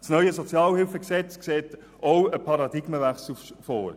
Das neue SHG sieht auch einen Paradigmenwechsel vor.